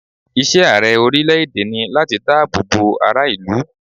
Iṣẹ́ Ààrẹ orílẹ̀ èdè ni láti dá àbọ̀ bo ara ìlú.